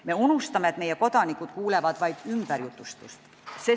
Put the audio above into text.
Me unustame, et meie kodanikud kuulevad vaid ümberjutustust toimunust.